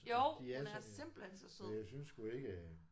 Det er så for jeg synes sgu ikke